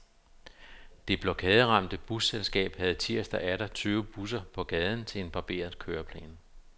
Det blokaderamte busselskab havde tirsdag atter tyve busser på gaden til en barberet køreplan.